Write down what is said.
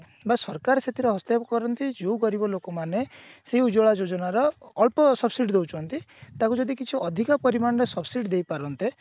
ବା ସରକାର ସେଥିରେ ହସ୍ତକ୍ଷେପ କରନ୍ତି ଯୋଉ ଗରିବ ଲୋକ ମାନେ ସେଇ ଉଜ୍ଜ୍ଵଳା ଯୋଜନାର ଅଳ୍ପ subsidy ଦଉଛନ୍ତି ତାଙ୍କୁ ଯଦି କିଛି ଅଧିକ ପରିମାଣରେ subsidy ଦେଇ ପାରନ୍ତେ